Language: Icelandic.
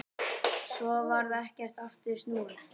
Svo varð ekkert aftur snúið.